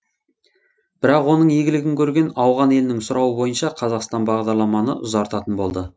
бірақ оның игілігін көрген ауған елінің сұрауы бойынша қазақстан бағдарламаны ұзартатын болды